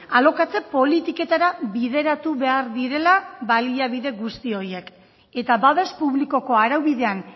alokatze politiketara bideratu behar direla baliabide guzti horiek eta babes publikoko araubidean